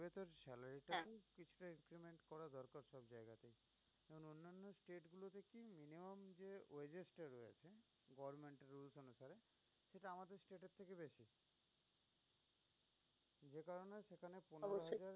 অবশ্যই।